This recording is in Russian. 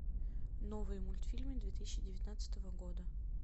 новые мультфильмы две тысячи девятнадцатого года